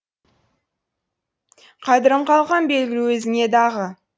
қадірім қалқам белгілі өзіңе дағы